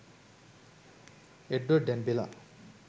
edward and bela